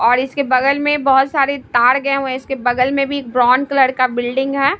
और इसके बगल में बहुत सारे तार गए हुए हैं इसके बगल में भी ब्राउन कलर का बिल्डिंग है।